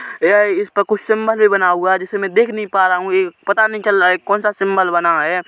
यह इस पर सिंबल बना हुआ है जिसे मैं देख नहीं पा रहा हूँ ये पता नहीं चल रहा है कोन-सा सिम्बल बना हैं।